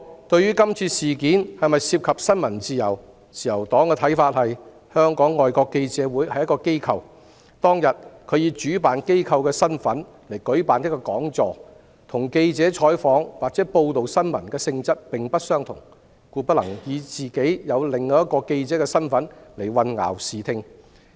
對於今次事件是否涉及新聞自由，自由黨的看法是，香港外國記者會作為一所機構，當日以主辦單位的身份舉辦一個講座，性質與記者採訪或報道新聞並不相同，故不能以其作為記者組織的身份而混淆視聽。